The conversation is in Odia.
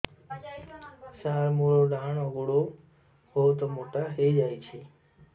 ସାର ମୋର ଡାହାଣ ଗୋଡୋ ବହୁତ ମୋଟା ହେଇଯାଇଛି